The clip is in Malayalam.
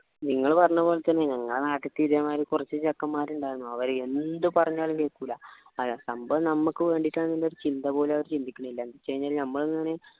നിങ്ങൾ പറഞ്ഞ പോലെ തന്നെ ഞങ്ങളെ നാട്ടില് ഇതേ മാതിരി കുറച്ച് ചെക്കന്മാർ ഉണ്ടായിരുന്നു അവര് എന്ത് പറഞ്ഞാലും കേൾക്കൂല്ല ഏർ സംഭവം നമ്മക്ക് വേണ്ടിയിട്ടാണ് എന്നൊരു ചിന്ത പോലു ചിന്തിക്കണില്ല എന്ന വെച്ചു കഴിനാൽ നമ്മൾ എന്നെയാണ്